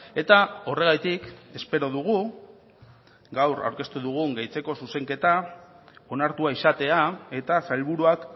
eta horregatik espero dugu gaur aurkeztu dugun gehitzeko zuzenketa onartua izatea eta sailburuak